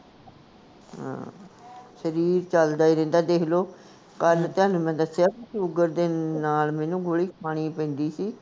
ਹਾਂ ਸ਼ਰੀਰ ਚਲਦਾ ਈ ਰਹਿੰਦਾ ਦੇਖਲੋ, ਕੱਲ ਤੁਹਾਨੂੰ ਮੈਂ ਦਸਿਆ ਸੀ ਸ਼ੂਗਰ ਦੇ ਨਾਲ ਮੈਨੂੰ ਗੋਲੀ ਖਾਣੀ ਪੈਂਦੀ ਸੀ